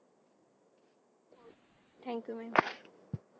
thank you madam